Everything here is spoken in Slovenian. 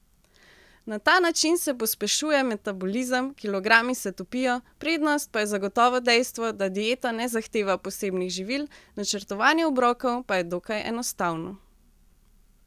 Na ta način se pospešuje metabolizem, kilogrami se topijo, prednost pa je zagotovo dejstvo, da dieta ne zahteva posebnih živil, načrtovanje obrokov pa je dokaj enostavno.